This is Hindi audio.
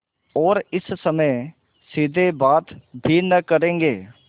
और इस समय सीधे बात भी न करेंगे